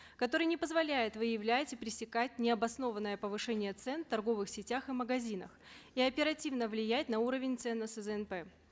который не позволяет выявлять и пресекать необоснованное повышение цен в торговых сетях и магазинах и оперативно влиять на уровень цен на сзнп